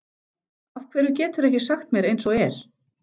Af hverju geturðu ekki sagt mér eins og er?